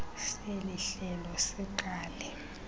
seli hlelo siqale